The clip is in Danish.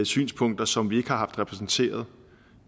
synspunkter som vi ikke har haft repræsenteret